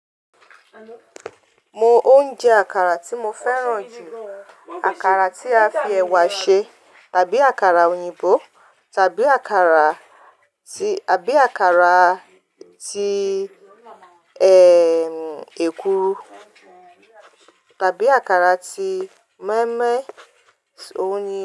Mo óúnjẹ àkàrà tí mo fẹ́ràn jù, àkàrà tí a fi ẹ̀wà ṣe tàbí àkàrà òyìnbó tàbí àkàrà tí, tàbí àkàrà tí, eeh em, èkuru tàbí àkàrà tí mọ́ínmọ́ín oyin.